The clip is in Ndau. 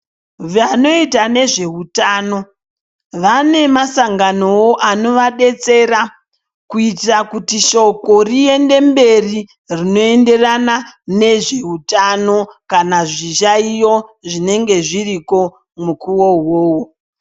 Vanoita nezveutano vane masanganowo anovadetsera kuitire kuti shoko riende mberi rinoenderana nezveutano kana zviyayiyo zvinenge zviriko mukuwo uwowo.